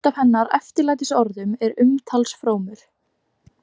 Eitt af hennar eftirlætisorðum er umtalsfrómur.